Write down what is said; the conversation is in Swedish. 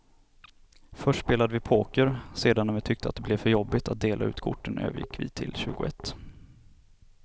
Först spelade vi poker, sedan när vi tyckte att det blev för jobbigt att dela ut korten övergick vi till tjugoett.